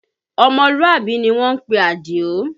Ọmọlúàbí ni wọ́n ń pe Adio